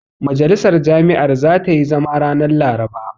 Majalisar jami'ar zata yi zama ranar Laraba.